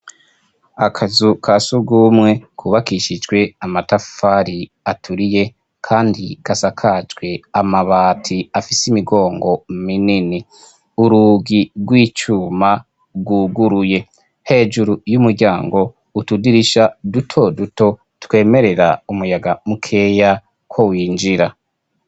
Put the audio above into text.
Akazu ka surumwe kubakishijwe amatafari aturiye kandi kasakajwe amabati afise imigongo minini. Urugi rw'icuma rwuguruye. Hejuru y'umuryango utudirisha duto duto twemerera umuyaga mukeya ko winjira.